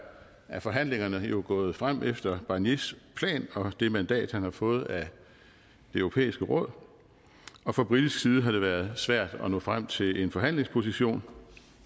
er forhandlingerne gået frem efter barniers plan og det mandat han har fået af det europæiske råd og fra britisk side har det været svært at nå frem til en forhandlingsposition